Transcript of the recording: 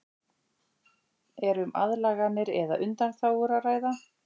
Er um aðlaganir eða undanþágur að ræða?